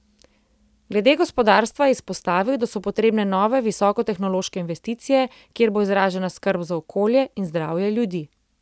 Glede gospodarstva je izpostavil, da so potrebne nove visokotehnološke investicije, kjer bo izražena skrb za okolje in zdravje ljudi.